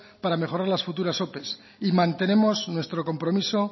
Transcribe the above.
para mejorar las futuras ope y mantenemos nuestro compromiso